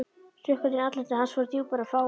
Hrukkurnar í andliti hans voru djúpar en fáar.